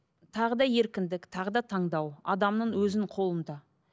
тағы да еркіндік тағы да таңдау адамның өзінің қолында